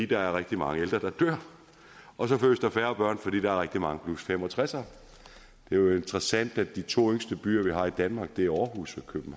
der er rigtig mange ældre der dør og så fødes der færre børn fordi der er rigtig mange 65ere det er jo interessant at de to yngste byer vi har i danmark er aarhus